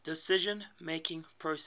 decision making process